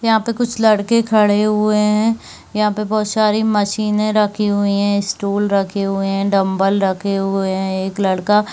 यहाँ पे कुछ लड़के खड़े हुए है यहाँ पे बहोत सारी मशीने रखी हुई है स्टूल रखे हुए है डम्बल रखे हुए है एक लड़का--